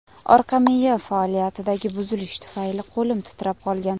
Orqa miya faoliyatidagi buzilish tufayli qo‘lim titrab qolgan.